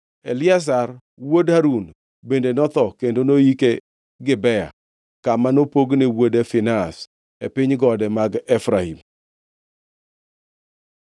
Eliazar wuod Harun bende notho kendo noyike Gibea, kama nopogne wuode Finehas e piny gode mag Efraim.